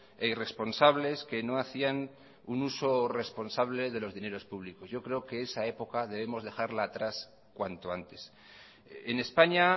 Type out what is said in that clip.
e irresponsables que no hacían un uso responsable de los dineros públicos yo creo que esa época debemos dejarla atrás cuanto antes en españa